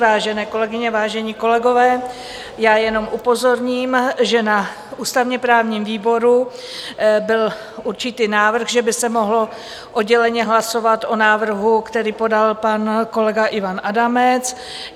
Vážené kolegyně, vážení kolegové, já jenom upozorním, že na ústavně-právním výboru byl určitý návrh, že by se mohlo odděleně hlasovat o návrhu, který podal pan kolega Ivan Adamec.